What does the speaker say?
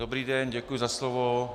Dobrý den, děkuji za slovo.